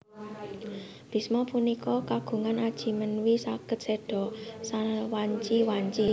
Bhisma punika kagungan aji menwi saged séda sawanci wanci